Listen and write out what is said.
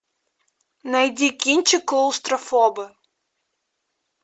найди кинчик клаустрофобы